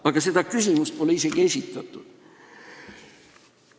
Aga seda küsimust pole isegi esitatud.